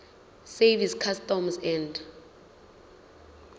service customs and